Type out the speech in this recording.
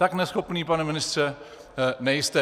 Tak neschopný, pane ministře, nejste.